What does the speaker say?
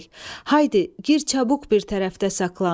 Haydi, gir çabuk bir tərəfdə saxlan.